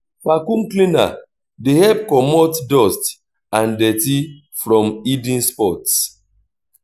vaccume cleaner dey help comot dust and dirty from hidden spots